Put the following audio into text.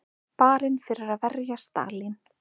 Barinn fyrir að verja Stalín